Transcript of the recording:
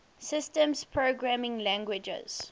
systems programming languages